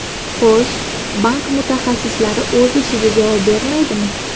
Xo‘sh, bank mutaxassislari o‘z ishiga javob bermaydimi?